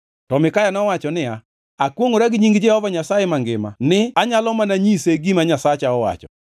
To Mikaya nowacho niya, “Akwongʼora gi nying Jehova Nyasaye mangima ni, anyalo mana nyise gima Nyasacha owacho.”